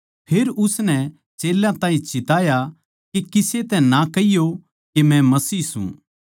फेर उसनै चेल्यां ताहीं चिताया के किसे तै ना कहियो के मै मसीह सूं